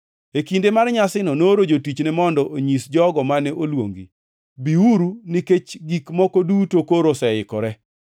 E kinde mar nyasino nooro jatichne mondo onyisi jogo mane oluongi, ‘Biuru, nikech gik moko duto koro oseikore.’